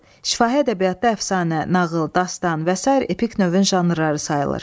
Şifahi ədəbiyyatda əfsanə, nağıl, dastan və sair epik növün janrları sayılır.